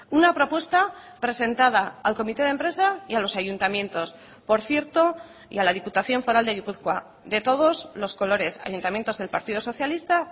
una propuesta presentada al comité de empresa y a los ayuntamientos por cierto y a la diputación foral de gipuzkoa de todos los colores ayuntamientos del partido socialista